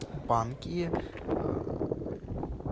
банки